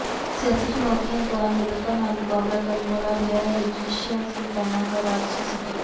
ਸਿਆਸੀ ਚੁਣੌਤੀਆਂ ਦਾ ਨਿਡਰਤਾ ਨਾਲ ਮੁਕਾਬਲਾ ਕਰਨ ਵਾਲਾ ਰਿਹੈ ਰਜ਼ੀਆ ਸੁਲਤਾਨਾ ਦਾ ਰਾਜਸੀ ਸਫ਼ਰ